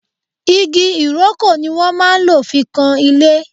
Igi Ìrókò ni wọ́n máa lò fi kan ilé